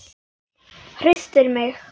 Hristir mig.